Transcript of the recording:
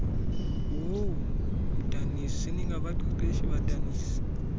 woomdaniso seningabaqeqeshi badanisi